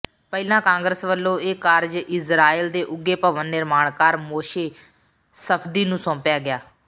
ਪਹਿਲਾਂ ਸਰਕਾਰ ਵੱਲੋਂ ਇਹ ਕਾਰਜ ਇਜ਼ਰਾਇਲ ਦੇ ਉਘੇ ਭਵਨ ਨਿਰਮਾਣਕਾਰ ਮੋਸ਼ੇ ਸਫਦੀ ਨੂੰ ਸੌਂਪਿਆ ਗਿਆ